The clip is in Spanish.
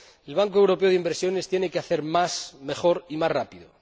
El Banco Europeo de Inversiones tiene que hacer más, mejor y más rápido.